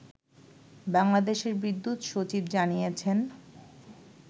বাংলাদেশের বিদ্যুৎ সচিব জানিয়েছেন